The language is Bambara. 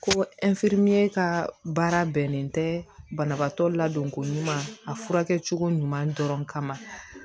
Ko ka baara bɛnnen tɛ banabaatɔ ladonko ɲuman a furakɛ cogo ɲuman dɔrɔn kama